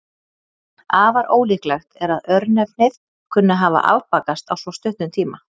Afar ólíklegt er að örnefnið kunni að hafa afbakast á svo stuttum tíma.